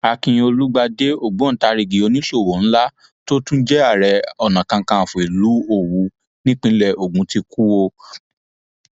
akin olùgbàdé ògbóǹtarigi oníṣòwò ńlá tó tún jẹ ààrẹ onakàkànfọ ìlú òwú nípínlẹ ogun ti kú o